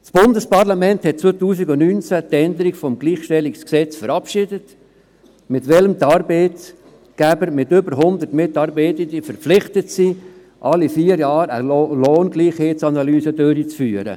Das Bundesparlament verabschiedete im Jahr 2019 die Änderung des Bundesgesetzes über die Gleichstellung von Frau und Mann (Gleichstellungsgesetz, GlG), mit dem die Arbeitgeber mit über hundert Mitarbeitenden verpflichtet sind, alle vier Jahre eine Lohngleichheitsanalyse durchzuführen.